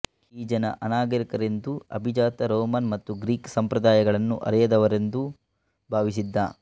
ಈ ಜನ ಅನಾಗರಿಕರೆಂದೂ ಅಭಿಜಾತ ರೋಮನ್ ಮತ್ತು ಗ್ರೀಕ್ ಸಂಪ್ರದಾಯಗಳನ್ನು ಅರಿಯದವ ರೆಂದೂ ಭಾವಿಸಿದ್ದ